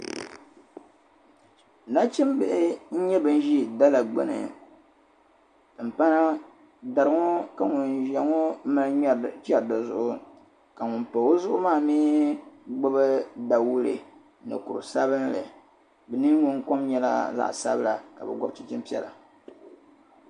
Nachimbihi n-nyɛ ban ʒi dala gbini. Timpana dari ŋɔ ka ŋun ʒia ŋɔ mali chɛri di zuɣu ka ŋum pa o zuɣu maa mi gbibi dawule ni kur' sabila. Bɛ niŋgbuŋkom nyɛla zaɣ' sabila ka bɛ gɔbi chinchini piɛla.